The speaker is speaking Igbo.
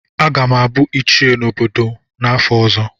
Aga m abụ ichie n'obodo m n'afọ ọzọ.